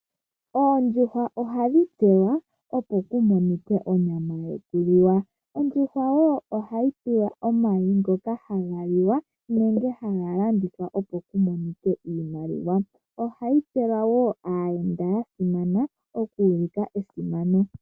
Oondjuhwa ohadhi tselwa opo kumonikwe onyama yo kuliwa, ondjuhwa wo ohayi zi omayi ngo haga liwa nenge haga landithwa opo kumonikwe iimaliwa ohayi tselwa wo aayenda ya simana oku ulika esimano.